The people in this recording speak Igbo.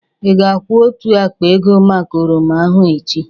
Ị ga-akwu otu akpa ego maka oroma ahụ echi?